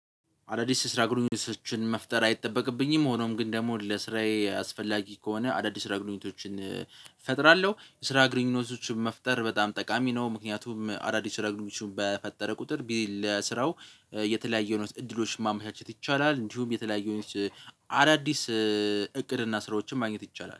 አዳዲስ የስራ ግንኙነቶችን መፍጠር አይጠበቅብኝም። ሆኖም ግን ደግሞ ለስራዬ አስፈላጊ ከሆነ አዳዲስ የስራ ግንኙነቶችን እፈጥራለሁ የስራ ግንኙነቶችን መፍጠር በጣም ጠቃሚ ነው። ምክንያቱም አዳዲስ የስራ ግንኙነቶችን በፈጠርን ቁጥር ለስራው የተለያየ አይነት እድሎች ማመቻቸት ይቻላል። እንዲሁም የተለያየ አዳዲስ እቅድና ስራዎችን ማግኘት ይቻላል